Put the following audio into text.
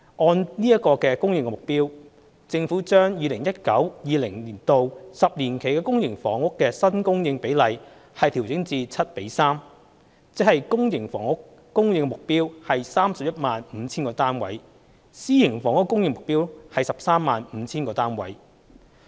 按此供應目標，政府將 2019-2020 年度起10年期的公私營房屋新供應比例調整至"七比三"，即公營房屋供應目標為 315,000 個單位，私營房屋供應目標為 135,000 個單位。